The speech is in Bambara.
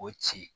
O ci